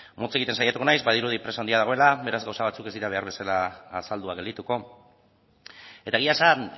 motz egiten saiatuko naiz badirudi presa handia dagoela beraz gauza batzuk ez dira behar bezala azalduak geldituko eta egia esan